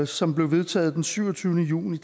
som blev vedtaget den syvogtyvende juni